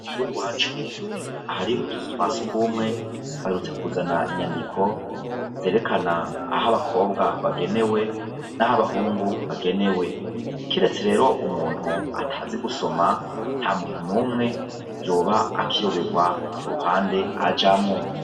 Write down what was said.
Kwishure iwacu hari utuzu twasugumwe baherutse kuzana inyandiko zerekana aho abakobwa bagenewe naho abahungu bagenewe kiretse rero umuntu atazi gusoma ntamuntu numwe yoba akiyoberwa uruhande ajamwo